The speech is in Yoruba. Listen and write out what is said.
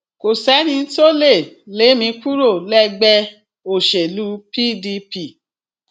kò sẹni tó lè lé mi kúrò lẹgbẹ òṣèlú pdp